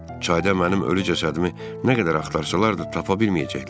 Çayda mənim ölü cəsədimi nə qədər axtarsalar da, tapa bilməyəcəklər.